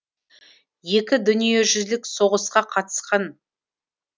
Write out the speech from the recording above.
екі дүниежүзілік соғысқа қатысқан